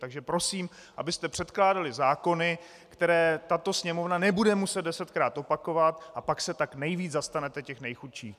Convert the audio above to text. Takže prosím, abyste předkládali zákony, které tato Sněmovna nebude muset desetkrát opakovat, a pak se tak nejvíc zastanete těch nejchudších.